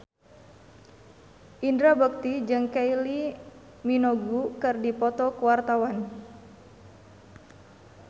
Indra Bekti jeung Kylie Minogue keur dipoto ku wartawan